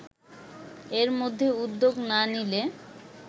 এর মধ্যে উদ্যোগ না নিলে